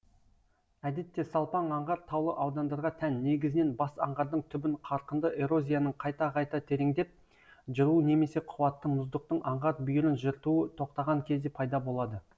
әдетте салпаң аңғар таулы аудандарға тән негізінен бас аңғардың түбін қарқынды эрозияның қайта қайта тереңдеп жыруы немесе қуатты мұздықтың аңғар бүйірін жыртуы тоқтаған кезде пайда болады